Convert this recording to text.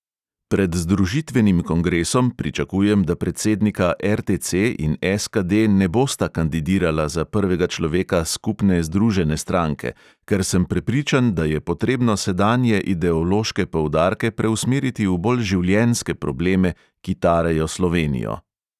Pred združitvenim kongresom pričakujem, da predsednika RTC in SKD ne bosta kandidirala za prvega človeka skupne združene stranke, ker sem prepričan, da je potrebno sedanje ideološke poudarke preusmeriti v bolj življenjske probleme, ki tarejo slovenijo.